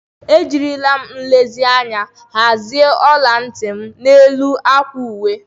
Ejiri m nlezianya hazie ola ntị m n'elu akwa uwe.